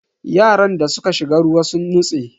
Yaran da suka shiga ruwa sun nutse.